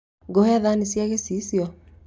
Ngũhe thani cia gĩciicio